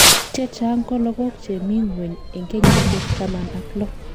Chechang' ko lokok chemi ngweny en kenyisiek taman ak lo.